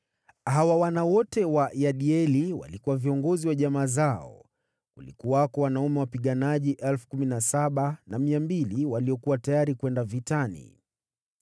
Hawa wana wote wa Yediaeli walikuwa viongozi wa jamaa zao. Kulikuwako wanaume wapiganaji 17,200 waliokuwa tayari kwenda vitani.